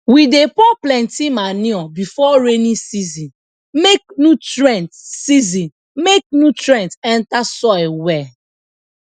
we dey pour plenty manure before rainy season make nutrient season make nutrient enter soil well